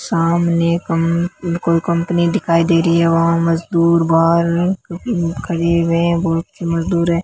सामने कं कोई कंपनी दिखाई दे री है वहां मजदूर बाहर उम् खड़े हुए है बहुत से मजदूर हैं।